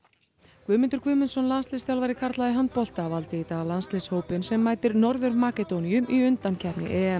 Guðmundur Guðmundsson landsliðsþjálfari karla í handbolta valdi í dag landsliðshópinn sem mætir Norður Makedóníu í undankeppni